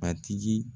A tigi